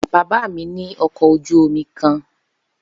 Baba mi ni ọkọ oju omi kan